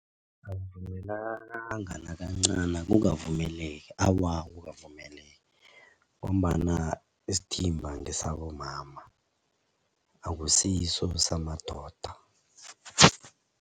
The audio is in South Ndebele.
Akuvumelakanga nakancani akukavumeleki awa, akukavumeleki ngombana isithimba ngesabomama akusiso samadoda.